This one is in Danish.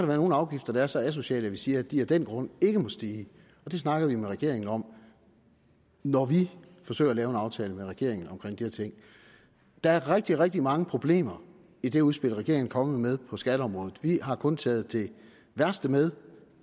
være nogle afgifter der er så asociale at vi siger at de af den grund ikke må stige og det snakker vi med regeringen om når vi forsøger at lave en aftale med regeringen om her ting der er rigtig rigtig mange problemer i det udspil regeringen er kommet med på skatteområdet vi har kun taget det værste med